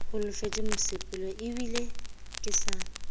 holofetše mosepelo ebile ke sa